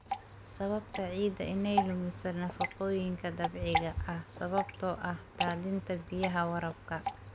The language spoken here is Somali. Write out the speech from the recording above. Sababta ciidda inay lumiso nafaqooyinka dabiiciga ah sababtoo ah daadinta biyaha waraabka.